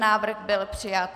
Návrh byl přijat.